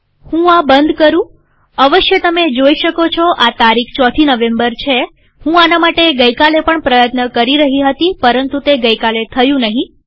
હું આ બંધ કરુંઅવશ્ય તમે જોઈ શકો છો આ તારીખ ચોથી નવેમ્બર છેહું આના માટે ગઈ કાલે પણ પ્રયત્ન કરી રહી હતી પરંતુ તે ગઈ કાલે થયું નહીં